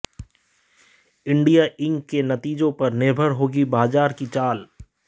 India Inc के नतीजों पर निर्भर होगी बाजार की चाल